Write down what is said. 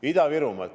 Ida-Virumaa.